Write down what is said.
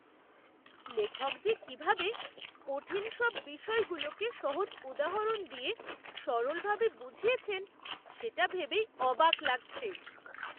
লেখক যে কিভাবে কঠিন সব বিষয়গুলোকে সহজ উদাহরণ দিয়ে সরলভাবে বুঝিয়েছেন, সেটা ভেবেই অবাক লাগছে!